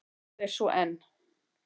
Og það er svo enn.